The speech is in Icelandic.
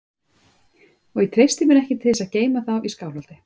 Og ég treysti mér ekki til þess að geyma þá í Skálholti.